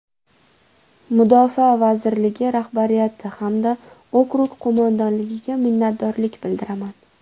Mudofaa vazirligi rahbariyati hamda okrug qo‘mondonligiga minnatdorlik bildiraman.